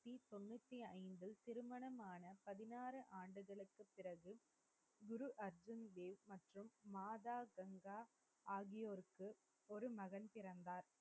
மாதா கங்கா ஆகியோருக்கு ஒரு மகன் பிறந்தார்.